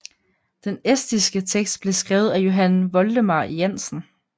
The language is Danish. Den estiske tekst blev skrevet af Johann Voldemar Jannsen